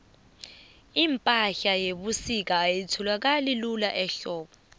ipahla yebusika ayitholakali lula ehlobo